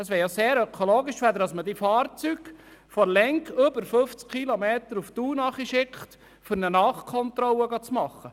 Es wäre sehr ökologisch, müsste man diese Fahrzeuge nicht über eine Strecke von 50 Kilometern nach Thun schicken, um eine Nachkontrolle durchzuführen.